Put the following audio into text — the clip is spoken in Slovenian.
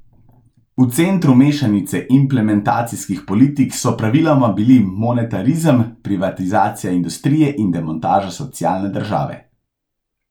V centru mešanice implementacijskih politik so praviloma bili monetarizem, privatizacija industrije in demontaža socialne države.